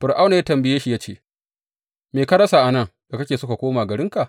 Fir’auna ya tambaye shi, ya ce, Me ka rasa a nan da kake so ka koma garinka?